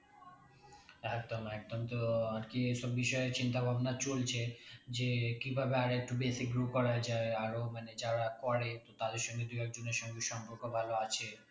একদম একদম তো আরকি এ সব বিষয়ে চিন্তা ভাবনা চলছে যে কিভাবে আরেকটু বেশি grow করা যাই আরও মানে যারা করে তো তাদের সঙ্গে দু এক জনের সঙ্গে সম্পর্ক ভালো আছে